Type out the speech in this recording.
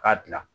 K'a dilan